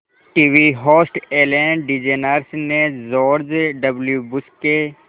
TV host Ellen DeGeneres ने George W Bush के